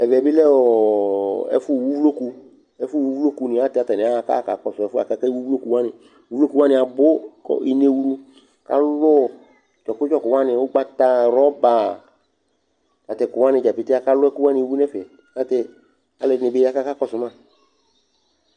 Ɛvɛ bɩ lɛ ɔ ɛfʋwu uvloku Ɛfʋwu uvloku ayɛlʋtɛ atanɩ aɣa kʋ aɣa kakɔsʋ ɛfʋ yɛ akewu uvloku wanɩ Uvloku wanɩ abʋ kʋ inewlu kalʋ ɔ dzɔkʋ dzɔkʋ wanɩ, ʋgbata, rɔba ta tʋ ɛkʋ wanɩ dza pete Akalʋ ɛkʋ wanɩ wu nʋ ɛfɛ Ayɛlʋtɛ alʋɛdɩnɩ bɩ ya kʋ akakɔsʋ ma